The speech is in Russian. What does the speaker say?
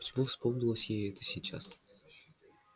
почему вспомнилось ей это сейчас